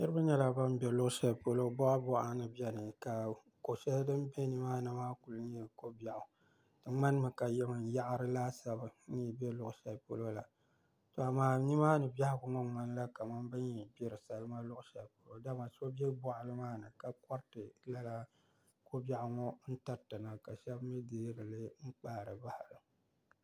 Niraba nyɛla bun bɛ luɣu shɛli polo boɣa boɣa ni biɛni ka ko shɛli din bɛ nimaani maa ku nyɛ ko biɛɣu di ŋmanimi ka yaɣari laasabu n yi bɛ luɣu shɛli polo la to amaa nimaani biɛhagu yɛn ŋmanila kamani bin yi gbiri salima luɣu shɛli polo dama so bɛ boɣali maa ni ka koriti lala ko biɛɣu ŋo n tiriti na ka shab mii deerili n kpaari bahara